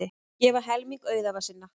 Gefa helming auðæfa sinna